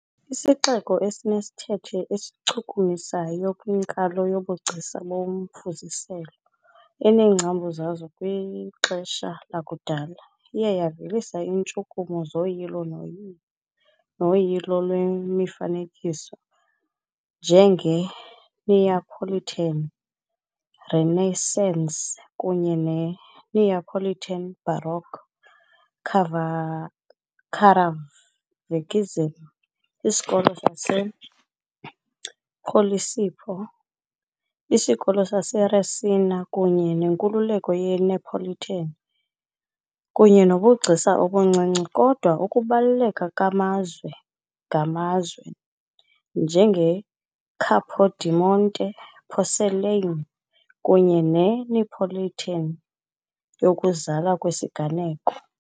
Isixeko esinesithethe esichukumisayo kwinkalo yobugcisa bomfuziselo, eneengcambu zaso kwixesha lakudala, iye yavelisa iintshukumo zoyilo noyilo noyilo lwemifanekiso, njengeNeapolitan Renaissance kunye neNeapolitan Baroque, Caravaggism ., isikolo sasePosillipo, isikolo saseResina kunye nenkululeko ye-Neapolitan, kunye nobugcisa obuncinci, kodwa ukubaluleka kwamazwe ngamazwe, njengeCapodimonte porcelain kunye ne- Neapolitan yokuzalwa kwesiganeko .